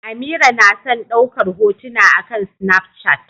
Amira na son daukar hotuna akan Snapchat.